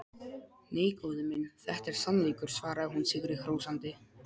Nei, góði minn, þetta er sannleikur, svaraði hún sigri hrósandi.